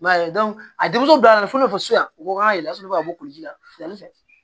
I m'a ye a denmuso bila la fo ne b'a fɔ so yan ko k'a yɛlɛ sufɛ ka bɔ ji la wulafɛ